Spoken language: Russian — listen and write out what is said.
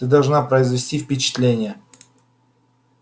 ты должна произвести впечатление